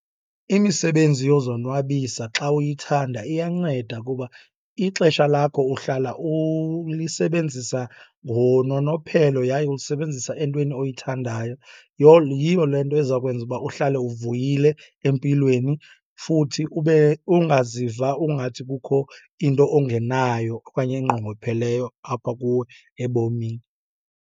Imisebenzi yozonwabisa xa uyithanda iyanceda kuba ixesha lakho uhlala ulisebenzisa ngononophelo yaye ulisebenzisa entweni oyithandayo. Yiyo le nto eza kwenza uba uhlale uvuyile empilweni futhi ube, ungaziva ungathi kukho into ongenayo okanye enqongopheleyo apha kuwe ebomini.